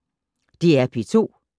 DR P2